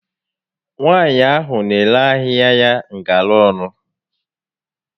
Nwaànyị ahụ n'ere ahịa ya ngara ọnụ